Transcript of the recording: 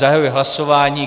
Zahajuji hlasování.